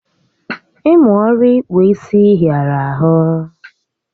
Ịmụ ọrụ ịkpụ isi hịara ahụ